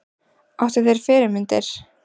Áttu þér fyrirmyndir?